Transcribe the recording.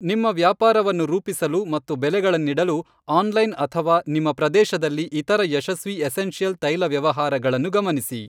ನಿಮ್ಮ ವ್ಯಾಪಾರವನ್ನು ರೂಪಿಸಲು ಮತ್ತು ಬೆಲೆಗಳನ್ನಿಡಲು, ಆನ್ಲೈನ್ ಅಥವಾ ನಿಮ್ಮ ಪ್ರದೇಶದಲ್ಲಿ ಇತರ ಯಶಸ್ವಿ ಎಸೆನ್ಷಿಯಲ್ ತೈಲ ವ್ಯವಹಾರಗಳನ್ನು ಗಮನಿಸಿ.